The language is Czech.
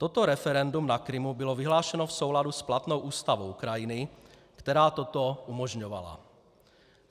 Toto referendum na Krymu bylo vyhlášeno v souladu s platnou ústavou Ukrajiny, která toto umožňovala.